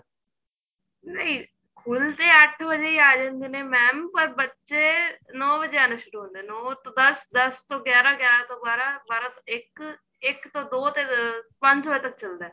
ਨਹੀਂ ਖੁਲ ਤੇ ਅੱਠ ਵਜੇ ਹੀ ਆ ਜਾਂਦੇ ਨੇ mam ਬੱਚੇ ਨੋ ਵਜੇ ਆਣਾ ਸ਼ੁਰੂ ਹੁੰਦੇ ਏ ਨੋ ਤੋਂ ਦੱਸ ਦੱਸ ਤੋਂ ਗਿਆਰਾ ਗਿਆਰਾ ਤੋਂ ਬਾਰਾਂ ਬਾਰਾਂ ਤੋਂ ਇੱਕ ਇੱਕ ਤੋਂ ਦੋ ਪੰਜ ਵਜੇ ਤੱਕ ਚੱਲਦਾ